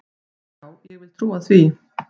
Já, ég vil trúa því.